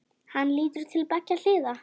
Hann lítur til beggja hliða.